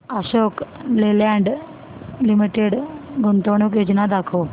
Ashok Leyland limited गुंतवणूक योजना दाखव